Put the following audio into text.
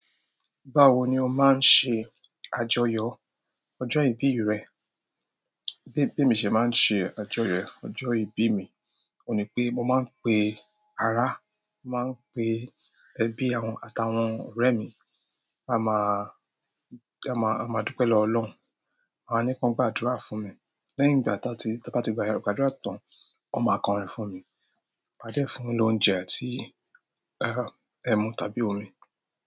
Báwo ni o ma n se àjọyọ̀ ojo ibi re? Bí emi ṣe máa ń ṣe àjọyọ̀ ọjọ́ ìbí mi, òun ní pé mo máa ń pe ara, máa ń pe ẹbí àtàwọn ọ̀rẹ́ mi, a máa, a máa dúpẹ́ lọwo ọlọ́run, a máa ní kí wọ́n gbàdúrà fún mi. Lẹ́yìn ìgbà tí wọ́n bá ti gbàdúrà tán, wọ́n máa kọrin fún mi. Ma de fún won lóúnjẹ àti ẹmu tàbí omi.